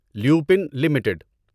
Lupin limited